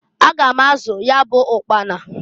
Aga m azụ ya bụ ụkpana.